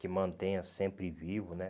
Que mantenha sempre vivo né.